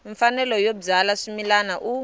mfanelo yo byala swimila u